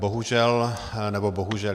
Bohužel - nebo bohužel.